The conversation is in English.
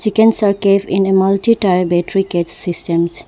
chickens are kept in a multi tier battery cage systems.